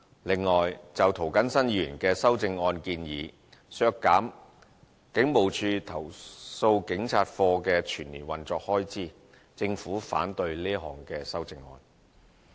此外，就涂謹申議員的修正案建議，削減警務處投訴警察課的全年運作開支，政府反對這項修正案。